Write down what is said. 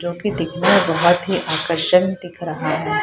जो की दिखने में बहत ही आकर्षण दिख रहा है।